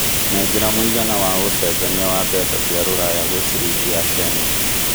nengera mũigana wa ũcenjanĩa wa mbeca cia rũraya gwĩ ciringi ya Kenya